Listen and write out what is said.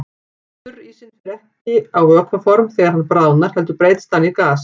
Þurrísinn fer ekki á vökvaform þegar hann bráðnar heldur breytist hann í gas.